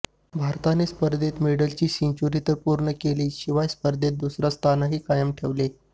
भारताने स्पर्धेत मेडल्सची सेंच्युरी तर पूर्ण केलीच शिवाय स्पर्धेत दुसरे स्थानही कायम ठेवले